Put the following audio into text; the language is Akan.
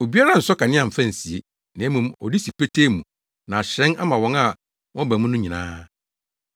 “Obiara nsɔ kanea mfa nsie, na mmom ɔde si petee mu na ahyerɛn ama wɔn a wɔba mu no nyinaa.